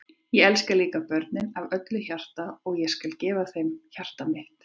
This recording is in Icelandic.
Ég elska líka börnin af öllu hjarta og ég skal gefa þeim hjarta mitt.